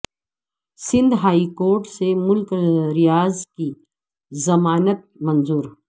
Sindh high court سے ملک ریاض کی ضمانت منظور